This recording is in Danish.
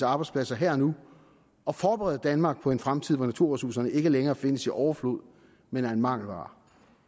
af arbejdspladser her og nu og forberede danmark på en fremtid hvor naturressourcerne ikke længere findes i overflod men er en mangelvare